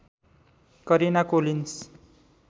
Karina Collins